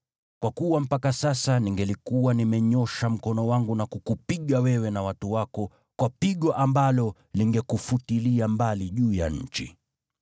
Kwa kuwa mpaka sasa ningelikuwa nimenyoosha mkono wangu na kukupiga wewe na watu wako kwa pigo ambalo lingekufutilia mbali juu ya nchi.